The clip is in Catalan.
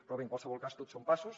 però bé en qualsevol cas tot són passos